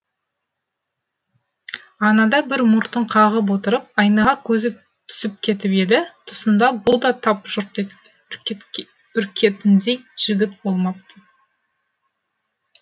анада бір мұртын қағып отырып айнаға көзі түсіп кетіп еді тұсында бұ да тап жұрт үркетіндей жігіт болмапты